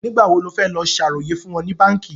Nígbà wo ní ó fẹ́ lọ ṣàròyè fún wọn ní báànkì?